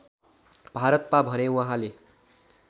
भारतमा भने उहाँले